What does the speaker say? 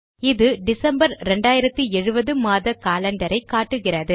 இது டிசம்பர் 2070 மாத காலண்டரை காட்டுகிறது